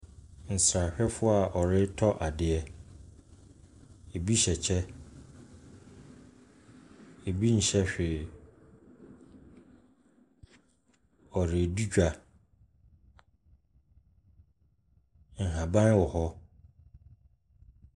Nsrahwɛfoɔ a wɔretɔ adeɛ, bi hyɛ kyɛ, bi nhyɛ hwee, wɔredi dwa. Nhaban wɔ hɔ.